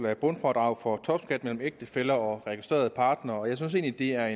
af bundfradrag for topskat mellem ægtefæller og registrerede partnere og jeg synes egentlig at